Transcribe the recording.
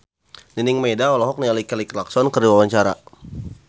Nining Meida olohok ningali Kelly Clarkson keur diwawancara